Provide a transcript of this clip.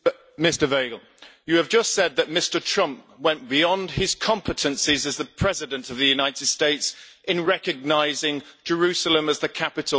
You have just said that Mr Trump went beyond his competencies as the President of the United States in recognising Jerusalem as the capital of Israel.